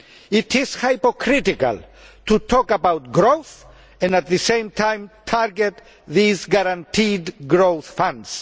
It is hypocritical to talk about growth and, at the same time, target these guaranteed growth funds.